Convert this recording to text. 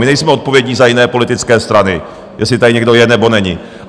My nejsme odpovědní za jiné politické strany, jestli tady někdo je, nebo není.